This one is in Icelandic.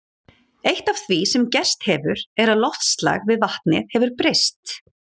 Eitt af því sem gerst hefur er að loftslag við vatnið hefur breyst.